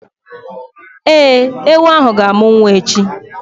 Ee, ewu ahụ ga-amụ nwa echi